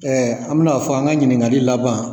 an bi n'a fɔ an ka ɲininkali laban